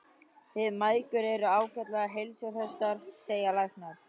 Þið mæðgur eruð ágætlega heilsuhraustar, segja læknar.